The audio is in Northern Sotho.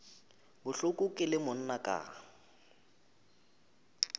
bohloko ke le monna ka